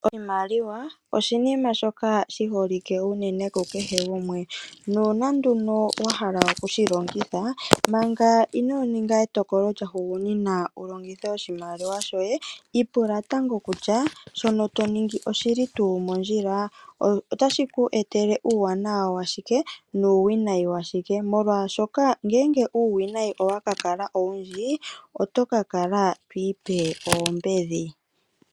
Oshimaliwa oshiima shoka shi holike ku kehe gumwe nuuna nduno wahala okushi longitha manga inoo ninga etokolo lya hugunina wulongithe oshimaliwa shoye ipula tango kutya shono to ningi oshili tuu mondjila . Shika otashi ku etele uuwanawa washike nuuwinayi washike molwaashoka ngele uuwinayi owa kala owundji oto ka kala to ipe oombedhi.